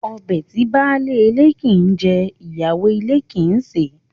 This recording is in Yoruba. Ọbẹ̀ tí baálé ilé kii jẹ, ìyá lè ilé kii ṣe